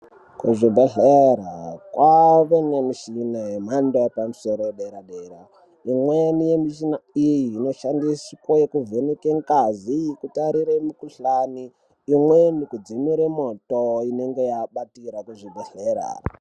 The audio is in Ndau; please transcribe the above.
Kuzvibehlera kwave nemichina yemhando yepamusoro yedera-dera . Imweni michini iyi inoshandiswe kuvheneka ngazi , kutarira mukuhlani imweni kudzimura moto inenge yabatira muzvibehlera.